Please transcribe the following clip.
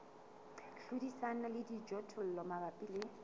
hlodisana le dijothollo mabapi le